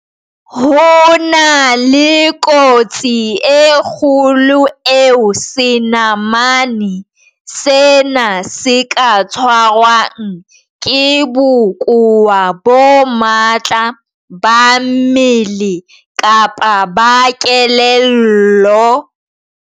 Ho na le kotsi e kgolo eo senamane sena se ka tshwarwang ke bokowa bo matla ba mmele kapa ba kelello.